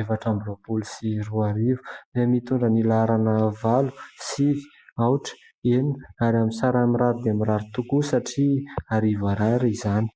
efatra amby roapolo sy roa arivo dia mitondra ny laharana valo, sivy, aotra, enina ary amin'ny sarany mirary dia mirary tokoa satria arivo ariary izany.